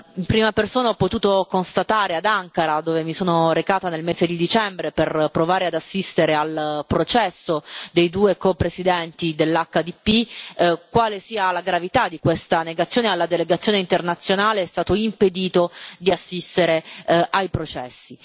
In prima persona ho potuto constatare ad Ankara, dove mi sono recata nel mese di dicembre per provare ad assistere al processo dei due copresidenti dell'HDP, quale sia la gravità di questa negazione, alla delegazione internazionale è stato impedito di assistere ai processi.